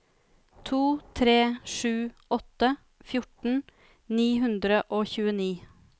to tre sju åtte fjorten ni hundre og tjueni